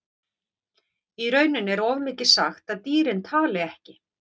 Í rauninni er of mikið sagt að dýrin tali ekki.